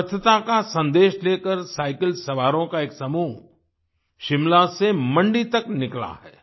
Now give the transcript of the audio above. स्वच्छता का सन्देश लेकर साइकिल सवारों का एक समूह शिमला से मंडी तक निकला है